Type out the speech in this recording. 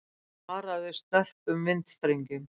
Varað við snörpum vindstrengjum